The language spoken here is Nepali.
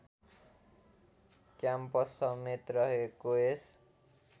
क्याम्पस समेत रहेको यस